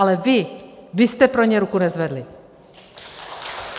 Ale vy, vy jste pro ně ruku nezvedli!